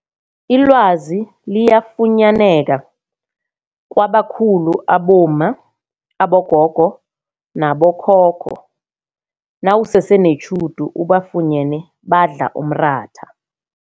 Ilwazi liyafunyaneka kwabakhulu abomma, abogogo nabokhokho nawusese netjhudu ubafunyene badla umratha.